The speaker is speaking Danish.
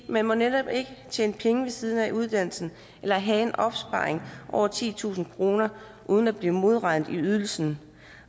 man må netop ikke tjene penge ved siden af uddannelsen eller have en opsparing over titusind kroner uden at blive modregnet i ydelsen